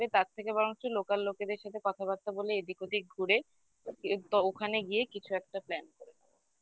তার থেকে বরঞ্চ local লোকেদের সাথে কথাবার্তা বলে এদিক ওদিক ঘুরে ওখানে গিয়ে কিছু একটা plan করব